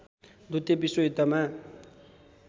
द्वितीय विश्वयुद्धमा